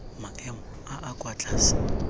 maemo a a kwa tlase